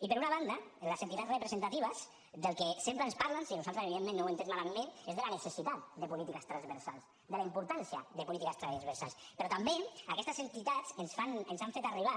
i per una banda les entitats representatives del que sempre ens parlen si nosaltres evidentment no ho hem entès malament és de la necessitat de polítiques transversals de la importància de polítiques transversals però també aquestes entitats ens fan ens han fet arribar